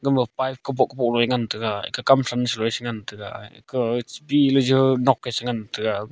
gama pipe kaboh bohley ngantega aga kam sam chu eh cha ngantega ka eh pihley jo nok eh cha ngantega.